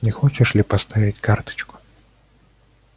не хочешь ли поставить карточку